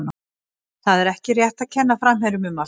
Það er ekki rétt að kenna framherjunum um allt.